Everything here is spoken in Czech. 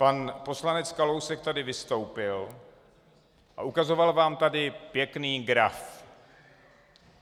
Pan poslanec Kalousek tady vystoupil a ukazoval vám tady pěkný graf.